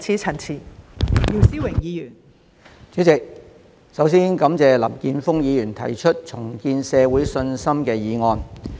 代理主席，首先感謝林健鋒議員提出"重建社會信心"議案。